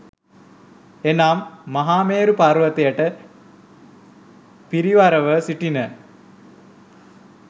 එනම්, මහමේරු පර්වතයට පිරිවරව සිටින